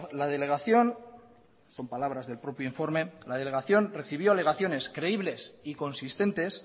la delegación son palabras del propio informe la delegación recibió alegaciones creíbles y consistentes